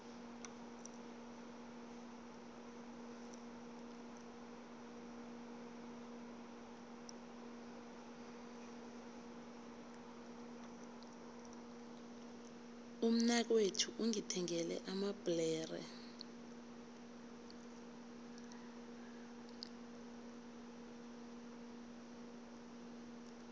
umnakwethu ungithengele amabhlere